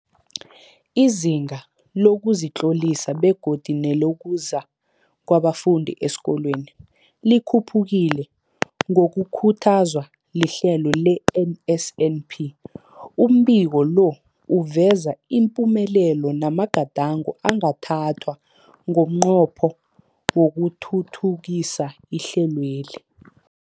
Izinga lokuzitlolisa begodu nelokuza kwabafundi esikolweni likhuphukile ngokukhuthazwa lihlelo le-NSNP. Umbiko lo uveza ipumelelo namagadango angathathwa ngomnqopho wokuthuthukisa ihlelweli.